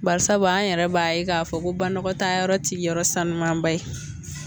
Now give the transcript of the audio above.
Barisabu an yɛrɛ b'a ye k'a fɔ ko banagɔtayɔrɔ ti yɔrɔ sanumanba ye